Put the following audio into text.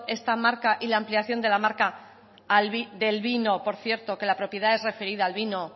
esta marca y la ampliación de la marca del vino por cierto que la propiedad es referida al vino